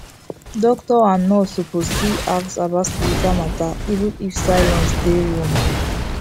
doctor and nurse suppose still ask about spiritual matter even if silence dey room